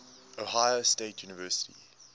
ohio state university